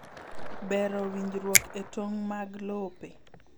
Bero winjruok e tong' mag lope